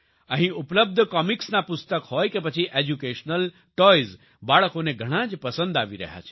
અહીં ઉપલબ્ધ કોમિક્સના પુસ્તક હોય કે પછી એજ્યુકેશનલ ટોય્ઝ બાળકોને ઘણાં જ પસંદ આવી રહ્યા છે